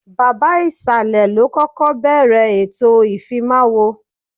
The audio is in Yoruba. Baba ìsàlẹ̀ ló kọ́kọ́ bẹ̀ẹ̀rẹ̀ ètò ìfimáwo